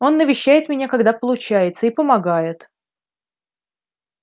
он навещает меня когда получается и помогает